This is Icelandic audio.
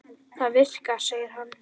Það virkar, segir hann.